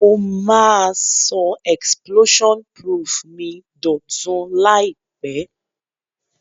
Mo ma so explosion proof mi dòtun làìpé